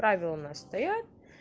правила у нас стоят